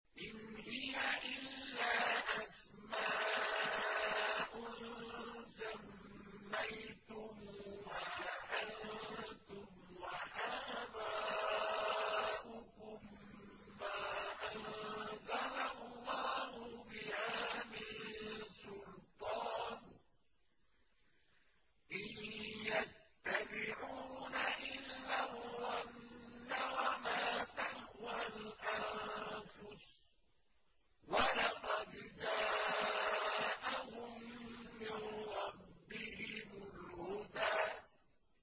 إِنْ هِيَ إِلَّا أَسْمَاءٌ سَمَّيْتُمُوهَا أَنتُمْ وَآبَاؤُكُم مَّا أَنزَلَ اللَّهُ بِهَا مِن سُلْطَانٍ ۚ إِن يَتَّبِعُونَ إِلَّا الظَّنَّ وَمَا تَهْوَى الْأَنفُسُ ۖ وَلَقَدْ جَاءَهُم مِّن رَّبِّهِمُ الْهُدَىٰ